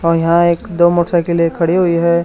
और यहां एक दो मोटरसाइकिलें खड़ी हुई है।